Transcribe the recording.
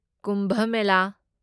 Kumbh Mela